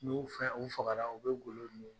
N'i y'u fɛ u fagara u bɛ golo